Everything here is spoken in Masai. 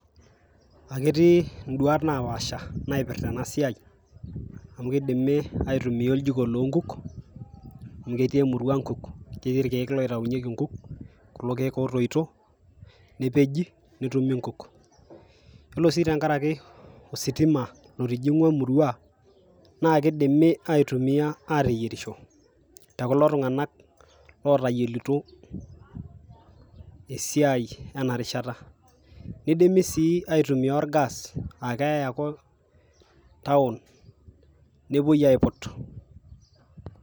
aketii nduat napaasha naipirta ena siai amu kidimi aitumia oljiko loonkuk amu ketii emurua nkuk ketii irkieek loitayunyieki nkuk , kulo kiek otoito , nepeji netumi inkuk . yiolo sii tenkaraki ositima lotijingwa emurua naa kidimi aitumia ateyierisho tekulo tunganak lotayielito esiai ena rishata . nidimi sii aitumia orgas aakeyay ake town nepuoi aiput.